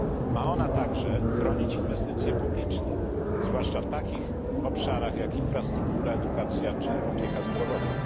Ma ona także chronić inwestycje publiczne, zwłaszcza w takich obszarach jak infrastruktura, edukacja czy opieka zdrowotna.